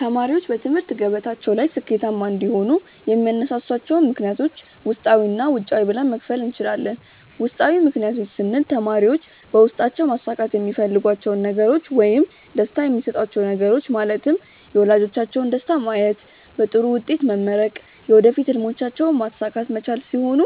ተማሪዎች በትምህርት ገበታቸው ላይ ስኬታማ እንዲሆኑ የሚያነሳሷቸውን ምክንያቶች ውስጣዊ እና ውጫዊ ብለን መክፈል እንችላለን። ውስጣዊ ምክንያቶች ስንል ተማሪዎች በውስጣቸው ማሳካት የሚፈልጓቸውን ነገሮች ውይም ደስታ የሚሰጧቹው ነገሮች ማለትም የወላጆቻቸውን ደስታ ማየት፣ በጥሩ ውጤት መመረቅ፣ የወደፊት ህልሞቻቸውንም ማሳካት መቻል ሲሆኑ